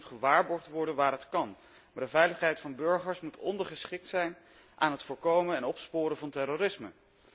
Privacy moet gewaarborgd worden waar het kan, maar de veiligheid van burgers moet ondergeschikt zijn aan het voorkomen en opsporen van terrorisme.